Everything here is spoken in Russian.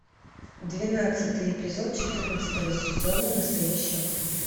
двенадцатый эпизод четырнадцатого сезона настоящая кровь